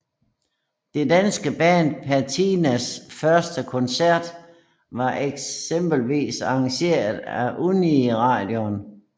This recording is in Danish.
Det danske band Patinas første koncert var eksempelvis arrangeret af Uniradioen